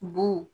Bun